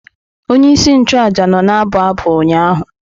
Onye isi nchụaja nọ na-abụ abụ ụnyaahụ.